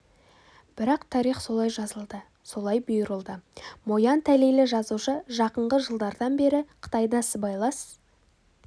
бірақ тарих солай жазылды солай бұйырылды мо ян тәлейлі жазушы жақынғы жылдардан бері қытайда сыбайлас